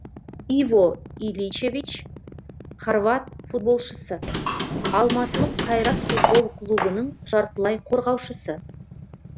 иво иличевич хорват футболшысы алматылық қайрат футбол клубының жартылай қорғаушысы